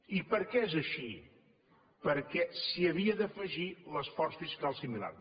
i per què és així perquè s’hi havia d’afegir l’esforç fiscal similar